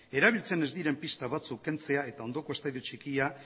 erabiltzen ez diren pista batzuk kentzea eta ondoko estadio txikia